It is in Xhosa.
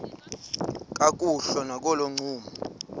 kakuhle nakolo ncumo